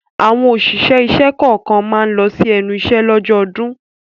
Àwọn òṣìṣẹ́ ìṣẹ́ kọ̀ọ̀kan máa ma lọ sí ẹnu iṣẹ́ lọ́jọ́ ọdún